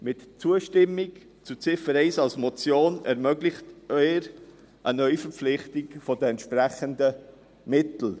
Mit der Zustimmung zu Ziffer 1 der Motion ermöglichen Sie eine Neuverpflichtung der entsprechenden Mittel.